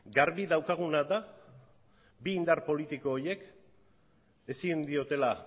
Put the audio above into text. garbi daukaguna da bi indar politiko horiek ezin diotela